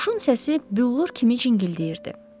Quşun səsi büllur kimi cingildəyirdi.